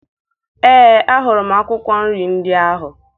Ee, ahụrụ m akwụkwọ nri ndị ahụ